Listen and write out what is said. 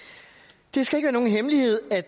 det skal ikke være nogen hemmelighed at